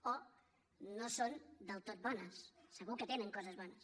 o no són del tot bones segur que tenen coses bones